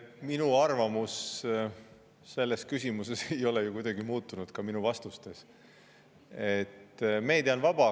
Minu arvamus selles küsimuses ei ole ju kuidagi muutunud, ka minu vastustest.